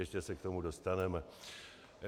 Ještě se k tomu dostaneme.